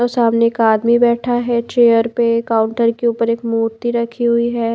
सामने का एक आदमी बैठा है चेयर पे काउंटर के ऊपर एक मूर्ति रखी हुई है।